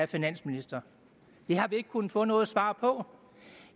finansministeren det har vi ikke kunnet få noget svar på